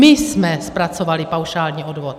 My jsme zpracovali paušální odvod.